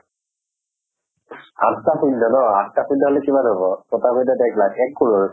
আঠ টা শূন্য় ন, আঠ টা শূন্য় হলে কিমান হব? ছয় টা শূন্য়ত এক লাখ, এক crore